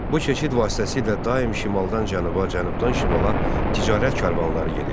Bu keçid vasitəsilə daim şimaldan cənuba, cənubdan şimala ticarət karvanları gedirdi.